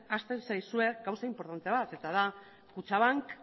ahazten zaizue gauza inportante bat eta da kutxabank